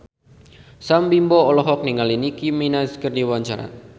Sam Bimbo olohok ningali Nicky Minaj keur diwawancara